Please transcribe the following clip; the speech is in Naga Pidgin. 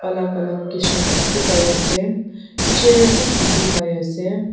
alak alak kishim dikhipaiase chir bi dikhipaiase.